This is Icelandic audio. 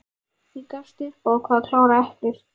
Ég gafst upp og ákvað að klára eplið.